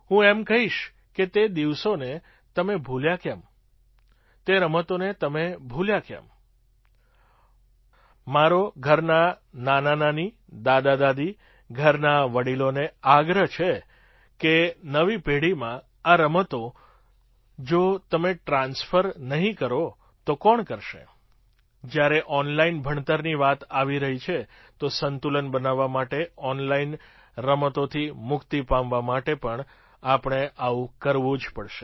હું એમ કહીશ કે તે દિવસોને તમે ભૂલ્યા કેમ તે રમતોને તમે ભૂલ્યા કેમ મારો ઘરનાં નાનાનાની દાદાદાદી ઘરના વડીલોને આગ્રહ છે કે નવી પેઢીમાં આ રમતો જો તમે ટ્રાન્સ્ફર નહીં કરો તો કોણ કરશે જ્યારે ઑનલાઇન ભણતરની વાત આવી રહી છે તો સંતુલન બનાવવા માટે ઑનલાઇન રમતોથી મુક્તિ પામવા માટે પણ આપણે આવું કરવું જ પડશે